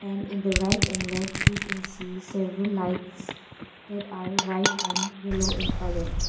And in the right and left we can see several lights that are white and yellow in colour.